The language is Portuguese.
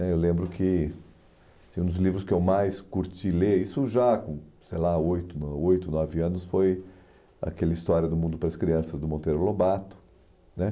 né Eu lembro que, assim um dos livros que eu mais curti ler, isso já com, sei lá, oito, no, oito, nove anos, foi Aquele História do Mundo para as Crianças, do Monteiro Lobato né